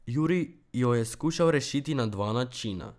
Juri jo je skušal rešiti na dva načina.